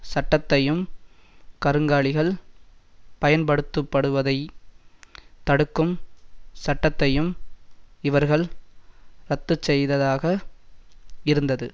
சட்டத்தையும் கருங்காலிகள் பயன்படுத்தப்படுவதை தடுக்கும் சட்டத்தையும் இவர்கள் ரத்துச்செய்ததாக இருந்தது